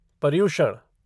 Paryushan